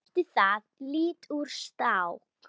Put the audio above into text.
Bætti það lítt úr skák.